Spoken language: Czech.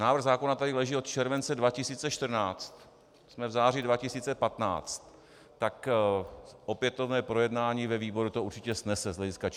Návrh zákona tady leží od července 2014, jsme v září 2015, tak opětovné projednání ve výboru to určitě snese z hlediska času.